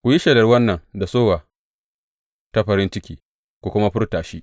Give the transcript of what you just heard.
Ku yi shelar wannan da sowa ta farin ciki ku kuma furta shi.